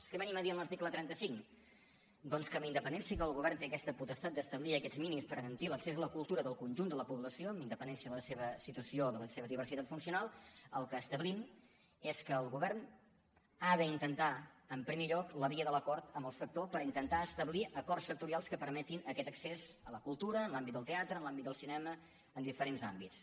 què venim a dir en l’article trenta cinc doncs que amb independència que el govern té aquesta potestat d’establir aquests mínims per garantir l’accés a la cultura del conjunt de la població amb independència de la seva situació o de la seva diversitat funcional el que establim és que el govern ha d’intentar en primer lloc la via de l’acord amb el sector per intentar establir acords sectorials que permetin aquest accés a la cultura en l’àmbit del teatre en l’àmbit del cinema en diferents àmbits